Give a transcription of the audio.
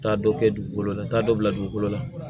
Taa dɔ kɛ dugukolo la n t'a dɔ bila dugukolo la